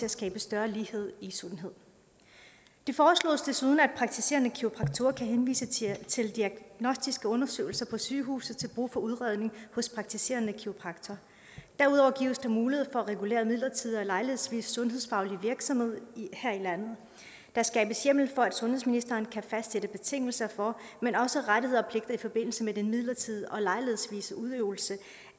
at skabe større lighed i sundhed det foreslås desuden at praktiserende kiropraktorer kan henvise til til diagnostiske undersøgelser på sygehuset til brug for udredning hos en praktiserende kiropraktor derudover gives der mulighed for at regulere midlertidig og lejlighedsvis sundhedsfaglig virksomhed her i landet der skabes hjemmel for at sundhedsministeren kan fastsætte betingelser for men også rettigheder og pligter i forbindelse med den midlertidige og lejlighedsvise udøvelse